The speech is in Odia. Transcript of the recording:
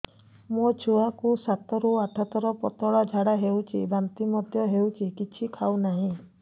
ମୋ ଛୁଆ କୁ ସାତ ରୁ ଆଠ ଥର ପତଳା ଝାଡା ହେଉଛି ବାନ୍ତି ମଧ୍ୟ୍ୟ ହେଉଛି କିଛି ଖାଉ ନାହିଁ